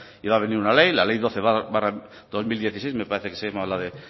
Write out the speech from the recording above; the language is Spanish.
iba a venir una ley la ley doce barra dos mil dieciséis me parece que se llamaba la de